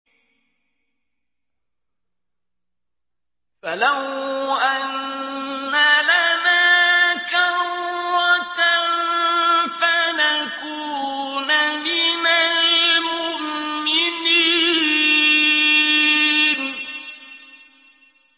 فَلَوْ أَنَّ لَنَا كَرَّةً فَنَكُونَ مِنَ الْمُؤْمِنِينَ